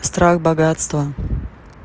страх богатства